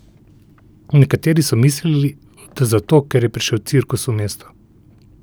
Nekateri so mislili, da zato, ker je prišel cirkus v mesto.